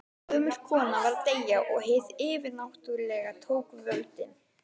Gömul kona var að deyja og hið yfirnáttúrlega tók völdin.